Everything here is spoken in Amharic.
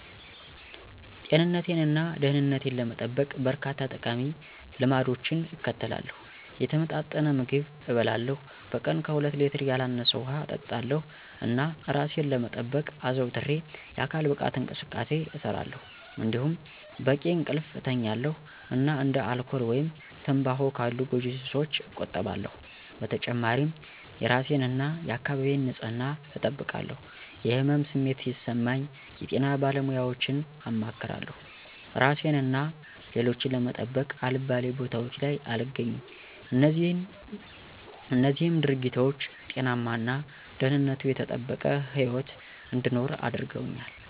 ጤንነቴን እና ደህንነቴን ለመጠበቅ፣ በርካታ ጠቃሚ ልማዶችን እከተላለሁ። የተመጣጠነ ምግብ እበላለሁ፣ በቀን ከሁለት ሌትር ያላነሰ ውሃ እጠጣለሁ፣ እና እራሴን ለመጠበቅ አዘውትሬ የአካል ብቃት እንቅስቃሴ እሰራለሁ። እንዲሁም በቂ እንቅልፍ እተኛለሁ እና እንደ አልኮል ወይም ትምባሆ ካሉ ጎጂ ሱሶች እቆጠባለሁ። በተጨማሪም የእራሴን እና የአካባቢዬን ንፅህና እጠብቃለሁ። የህመም ስሜት ሲሰማኝ የጤና ባለሙያወችን አማክራለሁ። እራሴን እና ሌሎችን ለመጠበቅ አልባሌ ቦታወች ላይ አልገኝም። እነዚህም ድርጊቶች ጤናማ እና ደህንነቱ የተጠበቀ ህይወት እንድኖር አድርገውኛል።